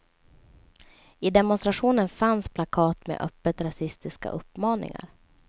I demonstrationen fanns plakat med öppet rasistiska uppmaningar.